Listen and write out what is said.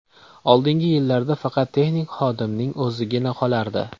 Oldingi yillarda faqat texnik xodimning o‘zigina qolardi.